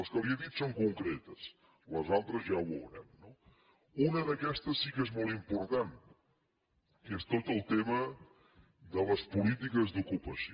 les que li he dit són concretes les altres ja ho veurem no una d’aquestes sí que és molt important que és tot el tema de les polítiques d’ocupació